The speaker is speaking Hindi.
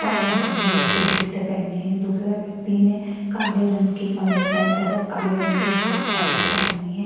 और आसमानी रंग के जूते पहने हैं दूसरा व्यक्ति ने काले रंग की कमीज पहने तथा काले रंग के हाफ पैंट पहनी है।